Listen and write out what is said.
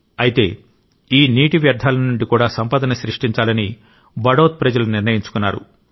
అయితే ఈ నీటి వ్యర్థాల నుండి కూడా సంపదను సృష్టించాలని బడౌత్ ప్రజలు నిర్ణయించుకున్నారు